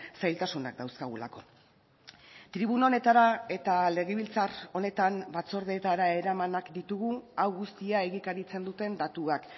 zailtasunak dauzkagulako tribuna honetara eta legebiltzar honetan batzordeetara eramanak ditugu hau guztia egikaritzen duten datuak